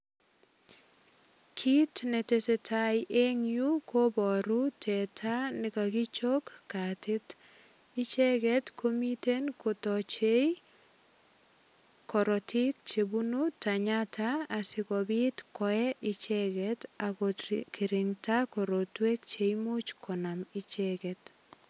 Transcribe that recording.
Kit ne tesetai eng yu kobaru teta ne kagichok katit. Icheget komiten kotachei korotik chebunu tenyata asigopit koe icheget ak kongirinda korotwek che imuch konam icheget.